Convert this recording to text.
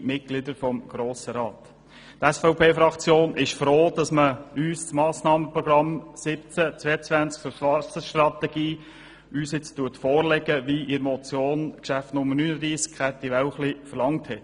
Die SVPFraktion ist froh, dass man uns das Massnahmenprogramm 2017í2022 zur Wasserstrategie nun vorlegt, wie es die Motion Wälchli verlangt hat.